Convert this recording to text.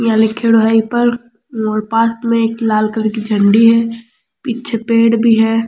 यहाँ लीखेड़ो है ई पर और पास में एक लाल कलर की झंडी है पीछे पेड़ भी है।